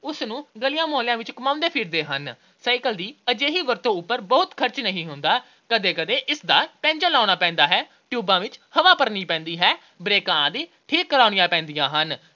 ਉਸਨੂੰ ਗਲੀਆਂ-ਮੁਹੱਲਿਆਂ ਵਿੱਚ ਘੁੰਮਾਉਂਦੇ ਫਿਰਦੇ ਹਨ। cycle ਦੀ ਅਜਿਹੀ ਵਰਤੋਂ ਉਪਰ ਬਹੁਤ ਖਰਚ ਨਹੀਂ ਹੁੰਦਾ। ਕਦੇ-ਕਦੇ ਇਸਦਾ ਪੈਂਚਰ ਲਗਾਉਣਾ ਪੈਂਦਾ ਹੈ। ਟਿਊਬਾਂ ਵਿੱਚ ਹਵਾ ਭਰਾਉਣੀ ਪੈਂਦੀ ਹੈ। ਬ੍ਰੇਕਾਂ ਆਦਿ ਠੀਕ ਕਰਾਉਣੀਆਂ ਪੈਂਦੀਆਂ ਹਨ।